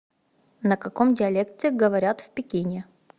на каком диалекте говорят в пекине